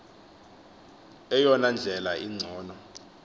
eyona ndlela ingcono